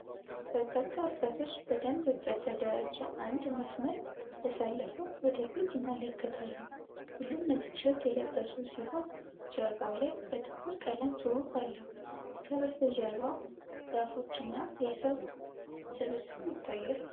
በርካታ ወጣቶች በደንብ በተደራጀ አንድ መስመር ተሰልፈው ወደ ፊት ይመለከታሉ። ሁሉም ነጭ ቲ-ሸርት የለበሱ ሲሆን፣ ጀርባው ላይ በጥቁር ቀለም ጽሑፍ አለው። ከበስተጀርባ ዛፎች እና የሰው ስብስብ ይታያል።